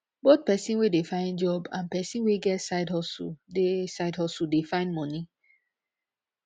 both persin we de find job and person wey get side hustle de side hustle de find moni